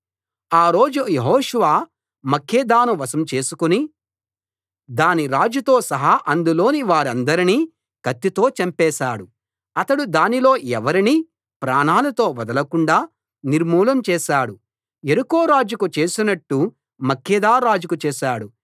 ఆ రోజు యెహోషువ మక్కేదాను వశం చేసుకుని దాని రాజుతో సహా అందులోని వారందరినీ కత్తితో చంపేశాడు అతడు దానిలో ఎవరినీ ప్రాణాలతో వదలకుండా నిర్మూలం చేసాడు యెరికో రాజుకు చేసినట్టు మక్కేదా రాజుకూ చేశాడు